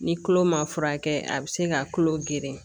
Ni kolo ma furakɛ a bɛ se ka kulo geren